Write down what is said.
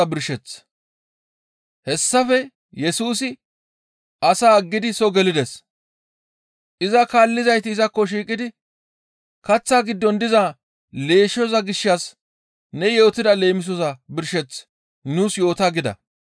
Hessafe Yesusi asaa aggidi soo gelides. Iza kaallizayti izakko shiiqidi, «Kaththa giddon diza leeshshoza gishshas ne yootida leemisoza birsheth nuus yoota» gida.